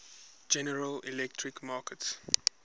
general electric markets